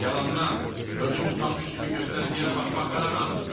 Yalandan özünü utanmış kimi göstərib yerə baxmaq qadağandır!